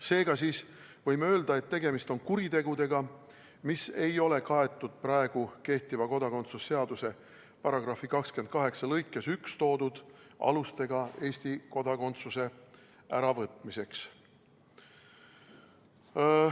Seega siis võime öelda, et tegemist on kuritegudega, mis ei ole kaetud praegu kehtiva kodakondsuse seaduse § 28 lõikes 1 toodud alustega Eesti kodakondsuse äravõtmiseks.